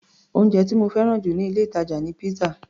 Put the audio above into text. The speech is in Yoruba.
Oúnjẹ tí mo fẹ́ràn jù níh ilé-ìtàjà ni pizza.